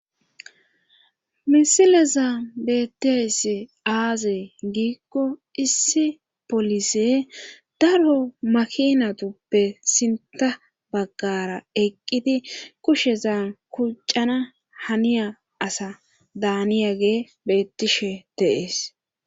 misilezan beetiyayd aazee giikko issi polise daro makinatuppe sinta baggara eqqidi kusheza kuccana haniya asa daaniyage beettishe de'ees